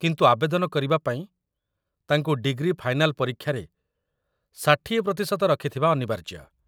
କିନ୍ତୁ ଆବେଦନ କରିବା ପାଇଁ, ତାଙ୍କୁ ଡିଗ୍ରୀ ଫାଇନାଲ ପରୀକ୍ଷାରେ ୬୦ ପ୍ରତିଶତ ରଖିଥିବା ଅନିବାର୍ଯ୍ୟ |